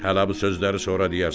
Hə lap bu sözləri sonra deyərsən.